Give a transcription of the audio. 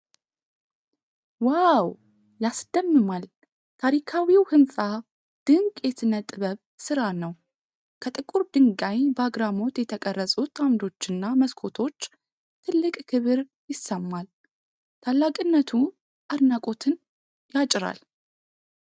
ዋው ያስደምማል! ታሪካዊው ህንፃ ድንቅ የስነ-ጥበብ ስራ ነው። ከጥቁር ድንጋይ በአግራሞት የተቀረጹት አምዶችና መስኮቶች ትልቅ ክብር ይሰማል። ታላቅነቱ አድናቆትን ያጭራል።